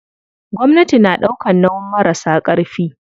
Gwamnati na ɗaukan nauyin marasa ƙarfi.